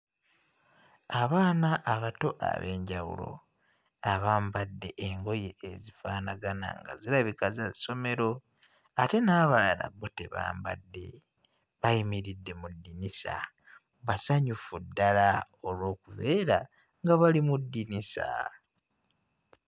Abaana abato ab'enjawulo abambadde engoye ezifaanagana nga zirabika za ssomero ate n'abalala bo tebambadde bayimiridde mu ddinisa basanyufu ddala olw'okubeera nga bali mu ddinisa.